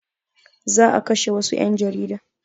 Za a kashe wassu ƴan jarida